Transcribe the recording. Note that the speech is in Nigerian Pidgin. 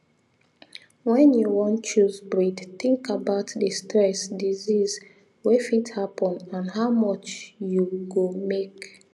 when you wan choose breed think about the stress disease wey fit happen and how much you go make